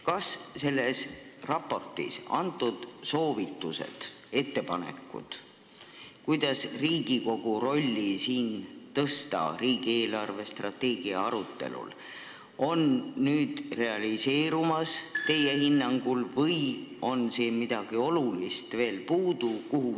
Kas selles raportis antud soovitused ja tehtud ettepanekud, kuidas Riigikogu rolli riigi eelarvestrateegia arutelul suurendada, on teie hinnangul realiseerumas või on midagi olulist veel puudu?